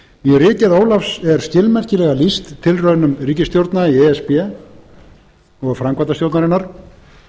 í ritgerð ólafs er skilmerkilega lýst tilraunum ríkisstjórna í e s b og framkvæmdastjórnarinnar til